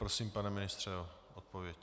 Prosím, pane ministře, o odpověď.